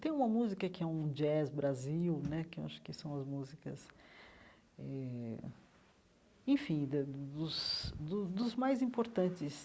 Tem uma música que é um jazz brasil né, que eu acho que são as músicas eh, enfim, da dos do dos mais importantes.